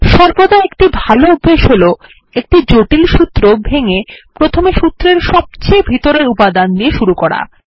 সর্বদা একটি ভালো অভ্যাস হল একটি জটিল সূত্র ভেঙ্গে প্রথমে সূত্রের সবচেয়ে ভিতরের উপাদান দিয়ে শুরু করা